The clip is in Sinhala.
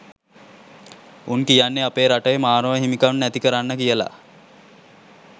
උන් කියන්නේ අපේ රටේ මානව හිමිකම් නැති කරන්න කියල